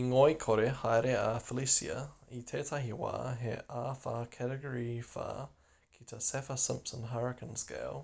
i ngoikore haere a felicia i tētahi wā he āwhā category 4 ki te saffir-simpson hurricane scale